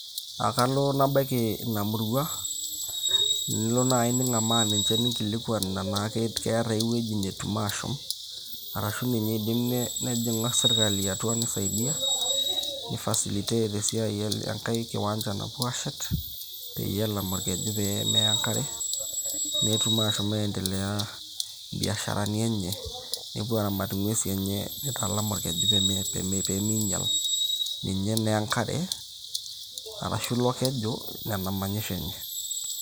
Akalo nabaiki ina murrua ,nilo nai ningamaa ninche ninkilikwan nena keeta ai wueji natum ashom arashu ninye eidim sirkali nejing atua neisaidia i facilitate esiai enkae kiwanja napuo ashet peyie elam orkeju peyie meya enkare netum ashom aendelea biasharani enye ,nepuo aramat ingwesi enye, neitalam okeju peme peimeinyal ninche enkare arashu ilo orkeju nena manyisho enye